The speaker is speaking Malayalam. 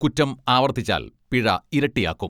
കുറ്റം ആവർത്തിച്ചാൽ പിഴ ഇരട്ടിയാക്കും.